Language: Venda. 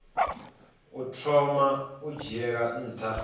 u thoma u dzhiela nha